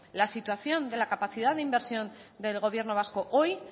la situación de la capacidad de inversión del gobierno vasco hoy